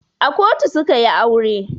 A kotu su ka yi aure.